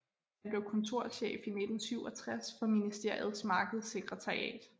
Han blev kontorchef i 1967 for ministeriets markedssekretariat